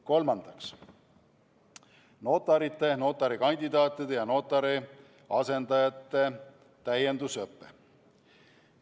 Kolmandaks, notarite, notarikandidaatide ja notari asendajate täiendusõpe.